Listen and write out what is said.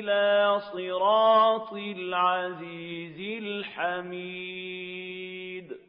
إِلَىٰ صِرَاطِ الْعَزِيزِ الْحَمِيدِ